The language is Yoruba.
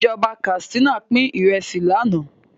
Ìjọba Katsina pin Ìrẹsí lànà